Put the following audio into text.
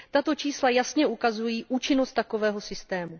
Tato čísla jasně ukazují účinnost takového systému.